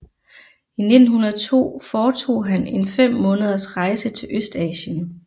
I 1902 foretog han en fem måneders rejse til Østasien